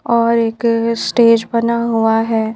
और एक स्टेज बना हुआ है।